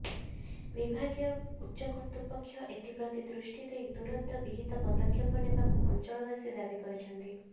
ବିଭାଗୀୟ ଉଚ୍ଚକର୍ତ୍ତୃପକ୍ଷ ଏଥିପ୍ରତି ଦୃଷ୍ଟିଦେଇ ତୁରନ୍ତ ବିହିତ ପଦକ୍ଷେପ ନେବାକୁ ଅଞ୍ଚଳବାସୀ ଦାବି କରିଛନ୍ତି